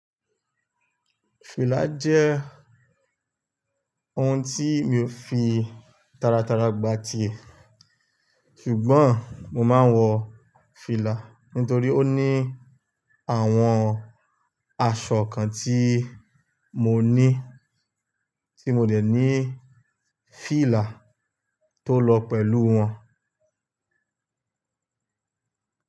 Fìlà jẹ́ oun tí mi ò fi tara tara gbati ẹ̀, ṣùgbọ́n mo máa ń wọ fìlà nítorí ó ní àwọn aṣọ kan tí mo ní tí mo dẹ̀ ní fìlà tó lọ pẹ̀lú wọn.